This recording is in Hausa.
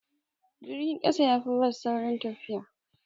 Jirgin ƙasa yafi bas saurin tafiya.